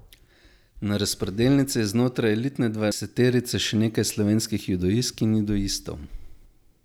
Na razpredelnici je znotraj elitne dvajseterice še nekaj slovenskih judoistk in judoistov.